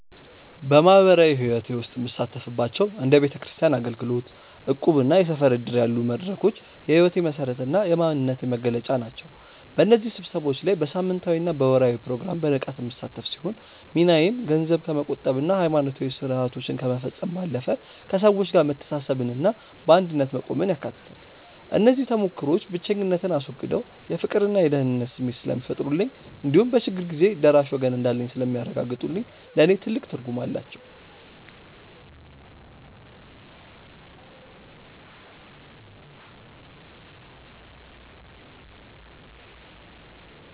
በማኅበራዊ ሕይወቴ ውስጥ የምሳተፍባቸው እንደ ቤተክርስቲያን አገልግሎት፣ እቁብና የሰፈር ዕድር ያሉ መድረኮች የሕይወቴ መሠረትና የማንነቴ መገለጫ ናቸው። በእነዚህ ስብሰባዎች ላይ በሳምንታዊና በወርኃዊ ፕሮግራም በንቃት የምሳተፍ ሲሆን፣ ሚናዬም ገንዘብ ከመቆጠብና ሃይማኖታዊ ሥርዓቶችን ከመፈጸም ባለፈ፣ ከሰዎች ጋር መተሳሰብንና በአንድነት መቆምን ያካትታል። እነዚህ ተሞክሮዎች ብቸኝነትን አስወግደው የፍቅርና የደህንነት ስሜት ስለሚፈጥሩልኝ እንዲሁም በችግር ጊዜ ደራሽ ወገን እንዳለኝ ስለሚያረጋግጡልኝ ለእኔ ትልቅ ትርጉም አላቸው።